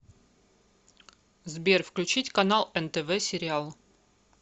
сбер включить канал нтв сериал